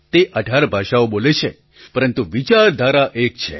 તે ૧૮ ભાષાઓ બોલે છે પરંતુ વિચારધારા એક છે